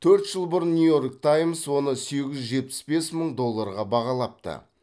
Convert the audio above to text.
төрт жыл бұрын нью йорк таймс оны сегіз жүз жетпіс бес мың долларға бағалапты